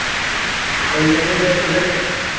എന്തൊക്കെണ്ട് സുഖല്ലേ